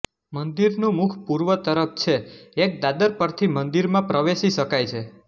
મંદિરનું મુખ પૂર્વ તરફ છે એક દાદર પરથી મંદિરમાં પ્રવેશી શકાય છે